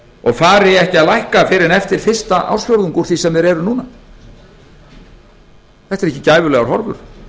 og fari ekki að lækka fyrr en eftir fyrsta ársfjórðung úr því sem þeir eru núna þetta eru ekki gæfulegar horfur